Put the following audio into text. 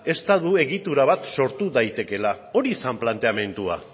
estatu egitura bat sortu daitekeela hori zen planteamendua